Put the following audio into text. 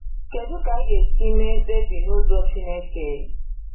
Kedu ka anyị ga-esi mee mkpebi n’ụzọ Chineke?